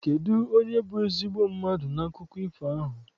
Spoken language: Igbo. Kedụ onye bụ ezigbo mmadụ n'akụkọ ifo ahụ?